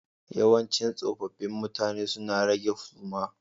Yawancin tsofaffi mutane suna rage suma